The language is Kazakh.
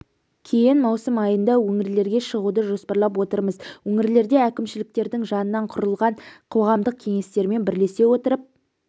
кейін маусым айында өңірлерге шығуды жоспарлап отырмыз өңірлерде әкімшіліктердің жанынан құрылған қоғамдық кеңестермен бірлесе отырып